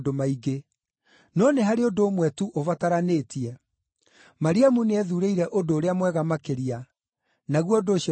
no nĩ harĩ ũndũ ũmwe tu ũbataranĩtie. Mariamu nĩethuurĩire ũndũ ũrĩa mwega makĩria, naguo ũndũ ũcio ndangĩtunywo.”